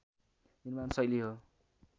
निर्माण शैली हो